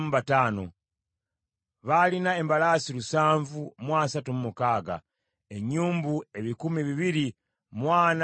Baalina embalaasi lusanvu mu asatu mu mukaaga (736), ennyumbu ebikumi bibiri mu ana mu ttaano (245),